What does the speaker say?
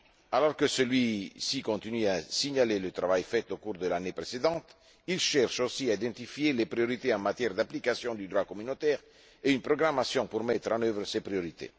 Alors que celui ci continue à signaler le travail fait au cours de l'année précédente, il cherche aussi à identifier les priorités en matière d'application du droit communautaire et une programmation pour mettre en œuvre ces priorités.